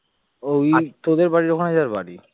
ওই তোদের বাড়ির ওখানে যার বাড়ি